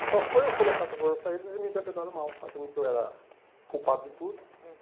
E só foi eu colocar essas coisas para eles e me interpretaram mal, achando que eu era culpado de tudo.